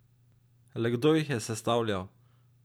Le kdo jih je sestavljal?